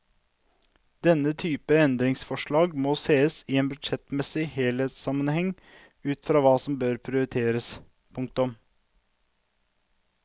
Denne type endringsforslag må sees i en budsjettmessig helhetssammenheng ut fra hva som bør prioriteres. punktum